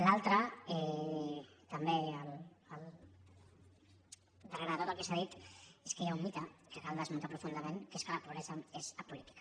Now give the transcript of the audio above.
l’altre també darrere de tot el que s’ha dit és que hi ha un mite que cal desmuntar profundament que és que la pobresa és apolítica